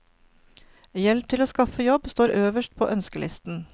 Hjelp til å skaffe jobb står øverst på ønskelisten.